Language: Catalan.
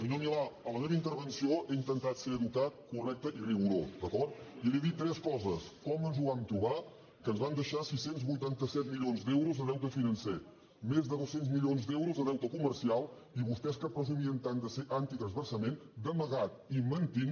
senyor milà a la meva intervenció he intentat ser educat correcte i rigorós d’acord i li he dit tres coses com ens ho vam trobar que ens van deixar sis cents i vuitanta set milions d’euros de deute financer més de dos cents milions d’euros de deute comercial i vostès que presumien tant de ser antitransvasament d’amagat i mentint